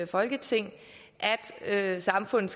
folketing at samfundet